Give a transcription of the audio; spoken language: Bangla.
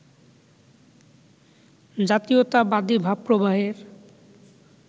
জাতীয়তাবাদী ভাবপ্রবাহের